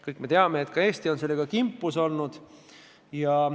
Kõik me teame, et ka Eesti on sellega kimpus olnud.